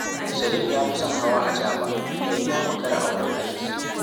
Salim ya fi son hawa acaɓa idan ya makara a wurin aiki